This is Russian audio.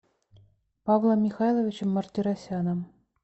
павлом михайловичем мартиросяном